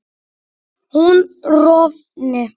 hún rofni